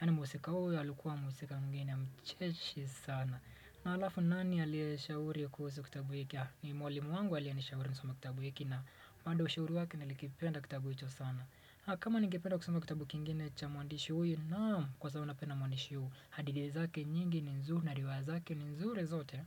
yaani mhusika huyo alikuwa mhusika mwingine mcheshi sana na halafu ni nani aliyeshauri kuhusu kitabu hiki ni mwalimu wangu aliyenishauri nisome kitabu hiki na bado ushauri wake nilikipenda kitabu hicho sana kama ningependa kusoma kitabu kingine cha mwandishi huyu naam kwa sababu napenda mwandishi huyu hadithi zake nyingi ni nzuri na riwaya zake ni nzuri zote.